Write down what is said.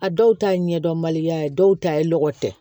A dɔw ta ye ɲɛdɔnbaliya ye dɔw ta ye lɔgɔ tɛ